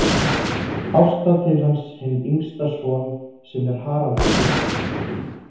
Ásta til hans hinn yngsta son sinn er Haraldur hét.